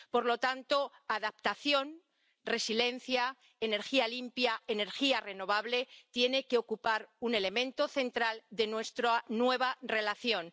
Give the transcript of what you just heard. Por lo tanto, adaptación, resiliencia, energía limpia, energía renovable tienen que ocupar un elemento central en nuestra nueva relación.